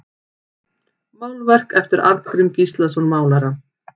Málverk eftir Arngrím Gíslason málara